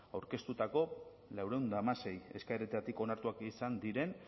aurkeztutako laurehun eta hamasei eskaeretatik onartuak izan diren